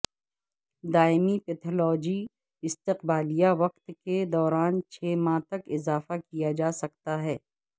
دائمی پیتھالوجی استقبالیہ وقت کے دوران چھ ماہ تک اضافہ کیا جا سکتا ہے